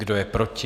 Kdo je proti?